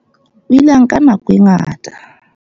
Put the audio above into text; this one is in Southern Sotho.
O ile a nka nako e ngata a